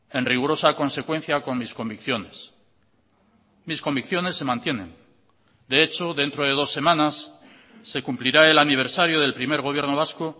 en rigurosa consecuencia con mis convicciones mis convicciones se mantienen de hecho dentro de dos semanas se cumplirá el aniversario del primer gobierno vasco